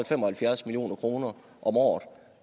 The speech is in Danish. fem og halvfjerds million kroner om året